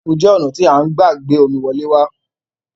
Pạipu je ona ti a n gba gbe omi wole wa